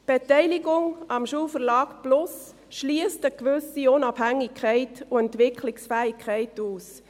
Die Beteiligung am Schulverlag plus schliesst eine gewisse Unabhängigkeit und Entwicklungsfähigkeit aus.